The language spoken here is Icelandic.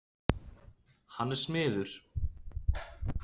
Hann er smiður.